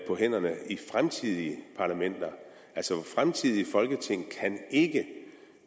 på hænderne i fremtidige parlamenter altså fremtidige folketing kan ikke